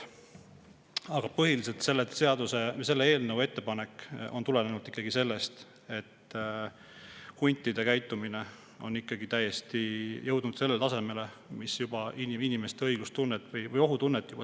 Aga põhiliselt on selle seaduseelnõu ettepanek tulenenud ikkagi sellest, et huntide käitumine on jõudnud sellele tasemele, et see puudutab juba selgelt inimeste õiglustunnet või ohutunnet.